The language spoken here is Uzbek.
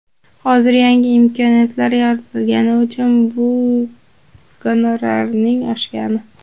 Hozir yangi imkoniyatlar yaratilgani uchun bu gonorarning oshgani.